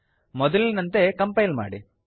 ಮೊದಲಿನಂತೆ ಕಂಪೈಲ್ ಮಾಡಿ